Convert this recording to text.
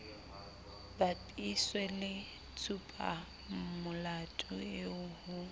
bapiswe le tshupamolato eo ho